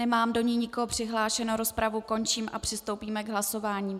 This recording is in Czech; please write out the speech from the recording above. Nemám do ní nikoho přihlášeného, rozpravu končím a přistoupíme k hlasování.